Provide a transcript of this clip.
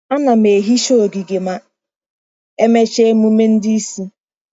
Ana m ehicha ogige ma emechaa emume ndị isi.